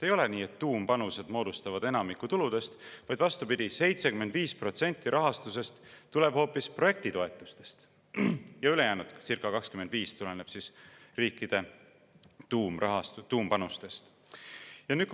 Ei ole nii, et tuumpanused moodustavad enamiku tuludest, vaid vastupidi, 75% rahastusest tuleb hoopis projektitoetustest ja ülejäänud, circa 25%, tuleb riikide tuumpanustest.